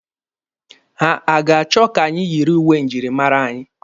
Ha a ga-achọ ka anyị yiri uwe njirimara anyị?